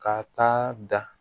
Ka taa da